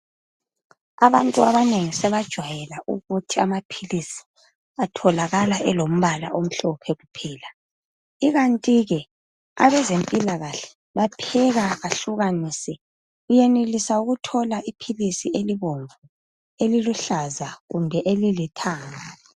Abantu abanengi sebajwayela ukuthi amaphilisi atholakala elombala omhlophe kuphela. Ikantike abezempilakahle bapheka bahlukanise. Uyenelisa ukuthola iphilisi elibomvu, eliluhlaza kumbe elilithanga.